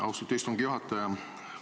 Austatud istungi juhataja!